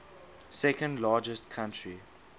second largest country